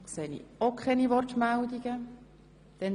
Auch hier sehe ich keine Wortbegehren.